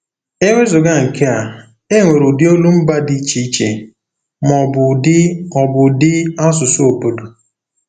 E wezụga nke a, e nwere ụdị olumba dị iche iche, ma ọ bụ ụdị ọ bụ ụdị asụsụ obodo.